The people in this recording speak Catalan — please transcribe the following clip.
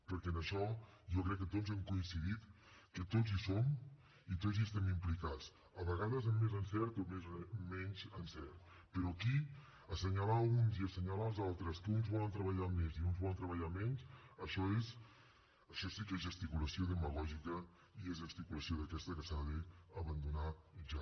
perquè en això jo crec que tots hem coincidit que tots hi som i tots hi estem implicats a vegades amb més encert o menys encert però aquí assenyalar uns i assenyalar els altres que uns volen treballar més i uns volen treballar menys això sí que és gesticulació demagògica i és gesticulació d’aquesta que s’ha d’abandonar ja